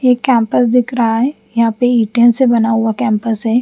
ये कॅम्पस दिख रहा है यहाँ पे ईटों से बना हुआ कॅम्पस है।